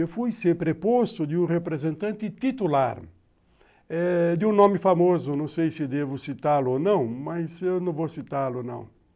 Eu fui ser preposto de um representante titular eh de um nome famoso, não sei se devo citá-lo ou não, mas eu não vou citá-lo não.